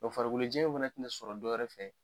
farikolojɛya in fana tina sɔrɔ dɔwɛrɛ fɛ.